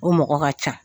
O mɔgɔ ka ca